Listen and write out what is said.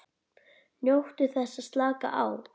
NJÓTTU ÞESS AÐ SLAKA Á